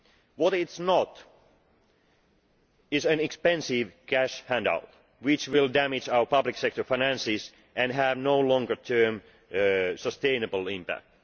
What it is not is an expensive cash handout which will damage our public sector finances and have no longer term sustainable impact.